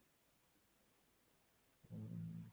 হম